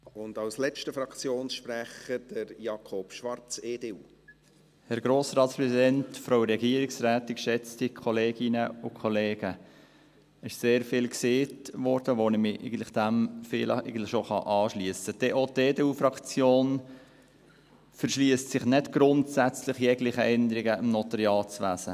Es wurde sehr viel gesagt, dem ich mich eigentlich anschliessen kann, denn auch die EDU-Fraktion verschliesst sich nicht grundsätzlich jeglichen Änderungen im Notariatswesen.